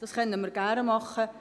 Das können wir gerne tun.